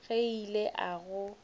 ge ke ile ka go